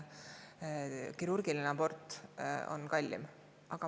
Kirurgiline abort on kallim.